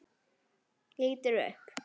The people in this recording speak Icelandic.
Lítur upp.